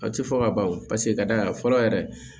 A tɛ fɔ ka ban wo paseke ka da a kan fɔlɔ yɛrɛ